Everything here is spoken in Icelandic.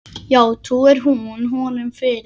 Já, trúir hún honum fyrir.